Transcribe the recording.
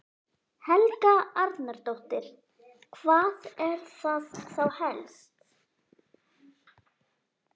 Helga Arnardóttir: Hvað er það þá helst?